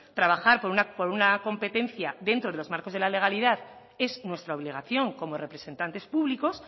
trabajar por una competencia dentro de los marcos de la legalidad es nuestra obligación como representantes públicos